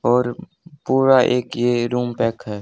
और पूरा एक ये रूम पैक है।